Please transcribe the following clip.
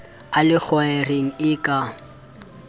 a le khwaereng e ka